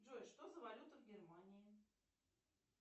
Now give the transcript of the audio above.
джой что за валюта в германии